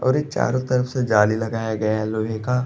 और एक चारो तरफ से जाली लगाया गया है लोहे का --